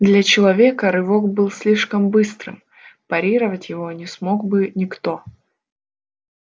для человека рывок был слишком быстрым парировать его не смог бы никто